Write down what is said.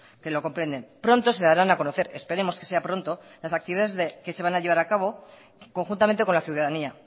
que lo comprenden pronto se darán a conocer esperemos que sea pronto las actividades que se van a llevar a cabo conjuntamente con la ciudadanía